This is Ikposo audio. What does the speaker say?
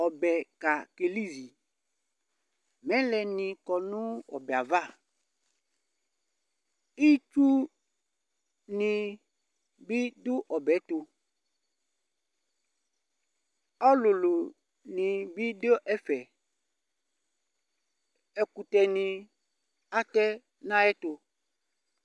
Ɔbɛka kelizi Mɛlɛnɩ kɔ nʋ ɔbɛ yɛ ava Itsunɩ bɩ dʋ ɔbɛ tʋ Ɔlʋlʋnɩ bɩ dʋ ɛfɛ Ɛkʋtɛnɩ atɛ nʋ ayɛtʋ